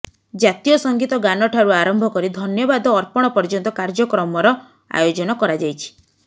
ଜାତୀୟ ସଂଗୀତ ଗାନଠାରୁ ଆରମ୍ଭ କରି ଧନ୍ୟବାଦ ଅର୍ପଣ ପର୍ଯ୍ୟନ୍ତ କାର୍ଯ୍ୟକ୍ରମର ଆୟୋଜନ କରାଯାଇଛି